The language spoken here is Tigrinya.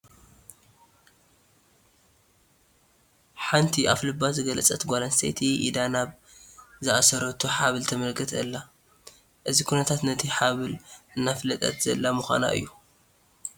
ሓንቲ ኣፍ ልባ ዝገለፀት ጓል ኣንስተይቲ ኢዳ ናብ ዝኣሰረቶ ሃብል ተመልክት ኣላ፡፡ እዚ ኩነታት ነቲ ሃብሊ እናፋለጠት ዘላ ምዃና እዩ፡፡